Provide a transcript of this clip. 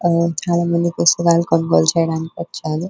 చాలామంది పుస్తకాలు కొనుగోలు చేయడానికి వచ్చారు.